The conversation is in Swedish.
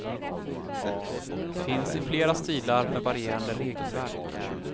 Finns i flera stilar med varierande regelverk.